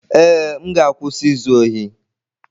Ee, m ga-akwụsị izu ohi.